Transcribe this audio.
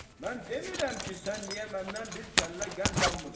Mən demirəm ki, sən niyə məndən bir kəllə qənd almırsan?